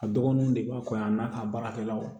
A dɔgɔninw de b'a fɔ yan n'a a baarakɛlaw